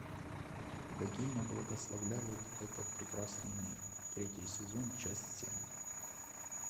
богиня благословляет этот прекрасный мир третий сезон часть семь